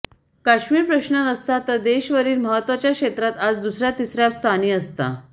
काश्मीर प्रश्न नसता तर देश वरील महत्त्वाच्या क्षेत्रात आज दुसऱया तिसऱया स्थानी असता